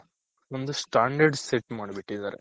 ಒಂದು Standard set ಮಾಡ್ಬಿಟ್ಟಿದಾರೆ